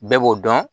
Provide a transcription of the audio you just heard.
Bɛɛ b'o dɔn